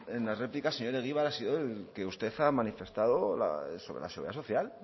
en la réplica señor egibar ha sido el que usted ha manifestado sobre la seguridad social